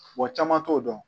Wa caman t'o dɔn